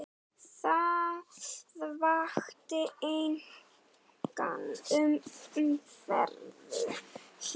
Það vakti enga umræðu hér.